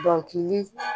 Dɔnkili